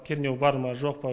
кернеу бар ма жоқ па